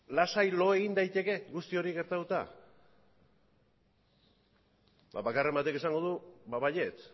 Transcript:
lasai lo egin daiteke guzti hori gertatuta eta bakarren batek esango du baietz